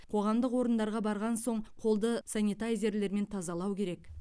қоғамдық орындарға барған соң қолды санитайзерлермен тазалау керек